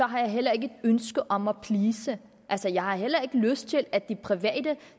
har jeg heller ikke et ønske om at please altså jeg har heller ikke lyst til at de private